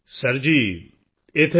sir ji ਇੱਥੇ ਮੈਂ B